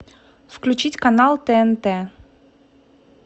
включить канал тнт